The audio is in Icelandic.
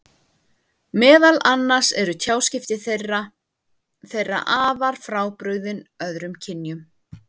Meðal annars eru tjáskipti þeirra þeirra afar frábrugðin öðrum kynjum.